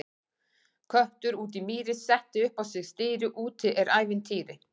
Köttur úti í mýri, setti upp á sig stýri, úti er ævintýri!